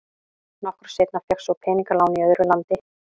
Nokkru seinna fékkst svo peningalán í öðru landi.